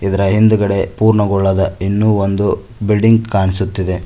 ಇದರ ಹಿಂದ್ಗಡೆ ಪೂರ್ಣಗೊಳ್ಳದ ಇನ್ನು ಒಂದು ಬಿಲ್ಡಿಂಗ್ ಕಾಣಿಸುತ್ತಿದೆ.